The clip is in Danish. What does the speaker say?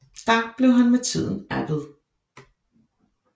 Der blev han med tiden abbed